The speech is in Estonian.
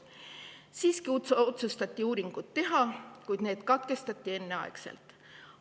Siiski otsustati uuringud teha, kuid need katkestati enneaegselt.